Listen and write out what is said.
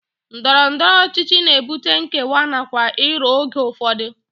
Ndọrọndọrọ ọchịchị na-ebute nkewa nakwa iro oge ụfọdụ